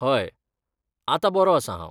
हय, आतां बरो आसा हांव .